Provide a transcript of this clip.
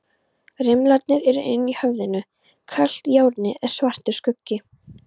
Rimlarnir eru inni í höfðinu, kalt járnið er svartur skuggi.